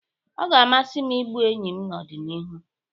Ọ ga-amasị m igbu enyi n'ọdịnihu